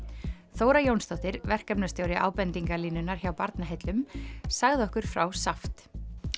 Þóra Jónsdóttir verkefnastjóri hjá Barnaheillum sagði okkur frá SAFT